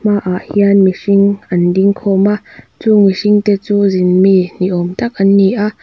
hmaah hian mihring an ding khawm a chung mihringte chu zin mi ni awm tak an ni a.